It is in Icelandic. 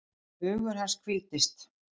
Hugur hans hvíldist.